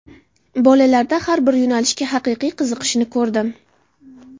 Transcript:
Bolalarda har bir yo‘nalishga haqiqiy qiziqishni ko‘rdim.